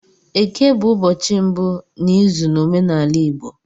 Eke bụ ụbọchị mbụ n'izu n'omenala Igbo